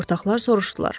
Ortaqlar soruşdular.